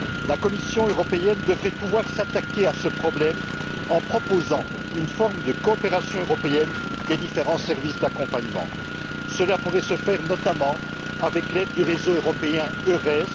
La Commission européenne devrait pouvoir s'attaquer à ce problème en proposant une forme de coopération européenne entre les différents services d'accompagnement. Cela pourrait se faire notamment avec l'aide du réseau européen EURES.